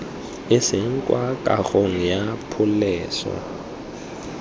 iseng kwa kagong ya pholese